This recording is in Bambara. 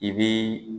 I bi